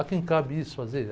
A quem cabe isso fazer?